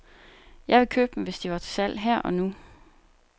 Jeg ville købe dem, hvis de var til salg her og nu.